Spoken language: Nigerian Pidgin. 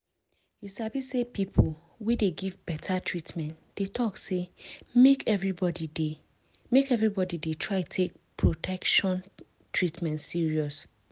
you sabi say people wey dey give beta treatment dey talk say make everybody dey make everybody dey try take protection treatment serious